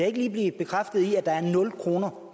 ikke lige blive bekræftet i at der er nul kroner